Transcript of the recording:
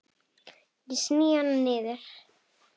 Ég sný hana niður.